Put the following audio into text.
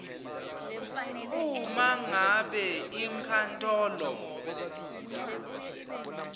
uma ngabe inkantolo